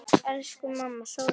Elsku mamma, sofðu vel.